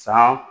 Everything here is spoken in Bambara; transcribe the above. San